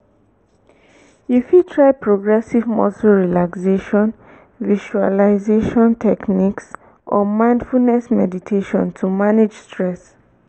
you fit try progressive muscle relaxation visualization techniques or mindfulness meditation to manage stress.